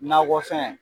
Nakɔfɛn